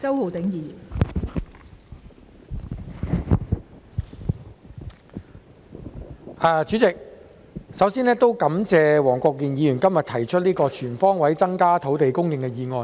代理主席，首先感謝黃國健議員今天提出這項"全方位增加土地供應"的議案。